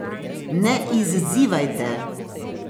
Ne izzivajte.